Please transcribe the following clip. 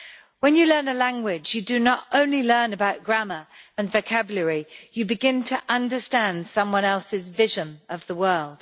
When you learn a language, you do not only learn about grammar and vocabulary, you begin to understand someone else's vision of the world.